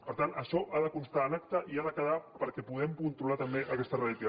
per tant això ha de constar en acta i ha de quedar perquè puguem controlar també aquesta retirada